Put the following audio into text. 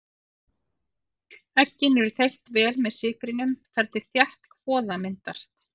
Eggin eru þeytt vel með sykrinum þar til þétt kvoða myndast.